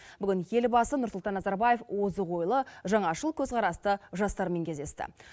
бүгін елбасы нұрсұлтан назарбаев озық ойлы жаңашыл көзқарасты жастармен кездесті